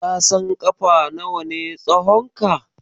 Ka san ƙafa nawa ne tsahonka?